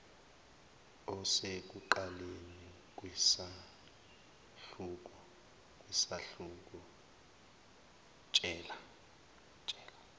osekuqaleni kwesahluko tshela